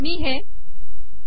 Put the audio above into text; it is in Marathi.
मी हे श्री